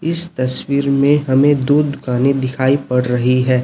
इस तस्वीर में हमें दूध पानी दिखाई पड़ रही है।